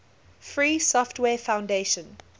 free software foundation